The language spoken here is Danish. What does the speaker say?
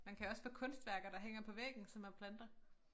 Man kan også få kunstværker der hænger på væggen som man planter